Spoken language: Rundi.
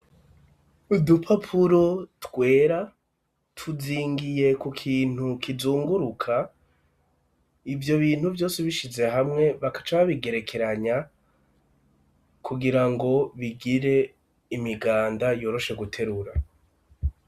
Udupapuro twera tuzingiye ku kintu kizunguruka, ivyo bintu vyose ubishize hamwe bakaca babigerekeranya, kugira ngo bigire imiganda yoroshe guterura.